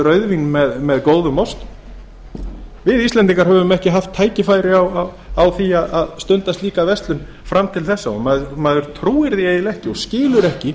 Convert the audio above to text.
rauðvín með góðum osti við íslendingar höfum ekki haft tækifæri á því að stunda slíka verslun fram til þessa og maður trúir því eiginlega ekki og skilur ekki